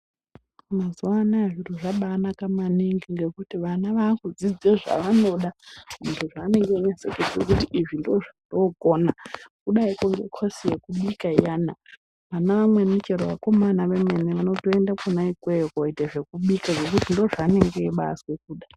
Mazuwa anaya zviro zvaba anaka maningi ngekuti vana vaakudzidza zvavanoda zvaanenge echinase kuziye kuti izvi ndozvandokona kudai ngekosi yekubika iyana ana amweni chero akomana vemene vanotoende ikweyo koobika ngekuti ndizvo zvaanenge eibaazwe kuda.